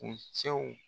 U cɛw